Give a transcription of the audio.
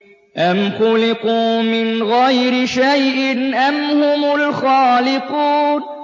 أَمْ خُلِقُوا مِنْ غَيْرِ شَيْءٍ أَمْ هُمُ الْخَالِقُونَ